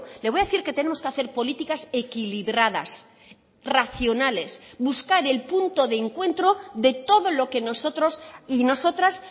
le voy a decir que tenemos que hacer políticas equilibradas racionales buscar el punto de encuentro de todo lo que nosotros y nosotras